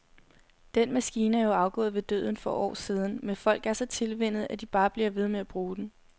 Den maskine er jo afgået ved døden for år siden, men folk er så tilvænnet, at de bare bliver ved med at bruge den.